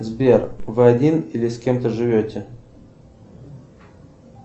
сбер вы один или с кем то живете